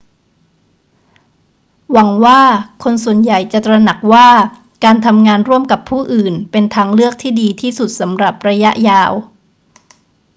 หวังว่าคนส่วนใหญ่จะตระหนักว่า การทำงานร่วมกับผู้อื่นเป็นทางเลือกที่ดีที่สุดสำหรับระยะยาว